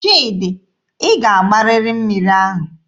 Chidi, ị ga-agbarịrị mmiri ahụ!